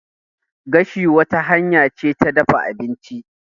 Gashi wata hanya ce ta dafa abinci.